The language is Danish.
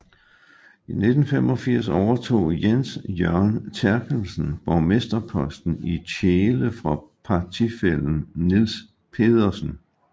I 1985 overtog Jens Jørgen Therkelsen borgmesterposten i Tjele fra partifællen Niels Pedersen